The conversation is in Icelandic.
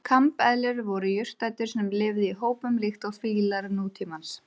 Evrópusambandið er meðal annars tollabandalag með sameiginlega tollskrá gagnvart ríkjum utan þess.